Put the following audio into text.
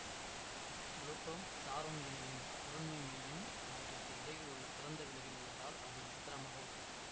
Pluto Charon இணையின் பொருண்மை மையம் அவற்றிற்கு இடையில் உள்ள திறந்த வெளியில் உள்ளதால் அது விசித்திரமாக உள்ளது